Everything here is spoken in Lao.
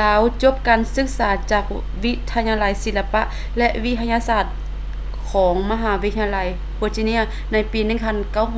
ລາວຈົບການສຶກສາຈາກວິທະຍາໄລສິລະປະ ແລະ ວິທະຍາສາດຂອງມະຫາວິທະຍາໄລ virginia ໃນປີ